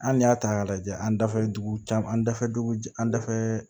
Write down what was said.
An n'i y'a ta k'a lajɛ an dafɛ dugu caman an dafɛ dugu an dafɛ